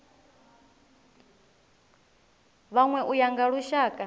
vhanwe u ya nga lushaka